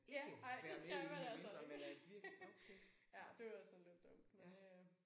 Ja ej det skal man altså ikke. Ja det var sådan lidt dumt men øh